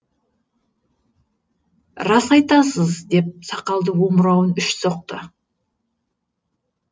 рас айтасыз деп сақалды омырауын үш соқты